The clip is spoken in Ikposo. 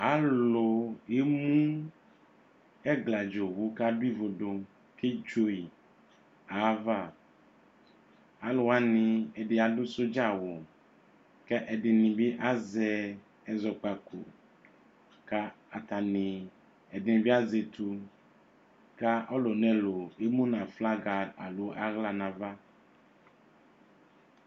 Alʊ emu ɛgladza owu ka adʊ ivudu ke dzo yi ava Alʊwani ɛdi adʊ sɔdzawʊ, kʊ ɛdɩnɩ bɩ azɛ ɛzɔkpaku kʊ atani ɛdɩnɩbɩ azɛ etu kʊ ɔlʊ nɛlʊ emu nʊ aflaga alo aɣla nʊ ava